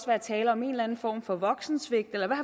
være tale om en eller anden form for voksensvigt eller der